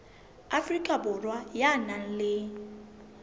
afrika borwa ya nang le